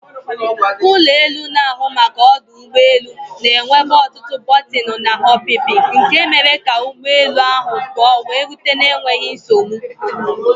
ụlọ elu na-ahụ maka ọdụ ụgbọ elu na-enwebu ọtụtụ bọtịnụ na ọpịpị nke mere ka ụgbọ elu ahụ pụọ wee rute na enweghị nsogbu